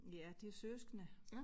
Ja de er søskende